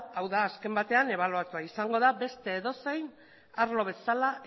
hau da azken batean ebaluatua izango da beste edozein arlo bezala